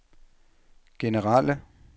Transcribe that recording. generelle